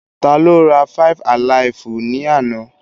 Tá ló rá five-alaifu ni àna?